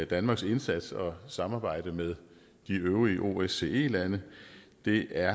danmarks indsats og samarbejde med de øvrige osce lande det er